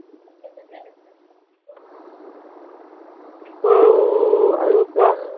আহ আৰু কোৱা